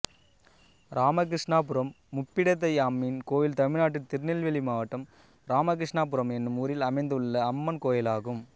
இராமகிருஷ்ணாபுரம் முப்பிடாதியம்மன் கோயில் தமிழ்நாட்டில் திருநெல்வேலி மாவட்டம் இராமகிருஷ்ணாபுரம் என்னும் ஊரில் அமைந்துள்ள அம்மன் கோயிலாகும்